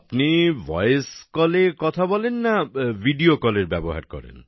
আপনি ভয়েস Callএ কথা বলেন না ভিডিও Callএরও ব্যবহার করেন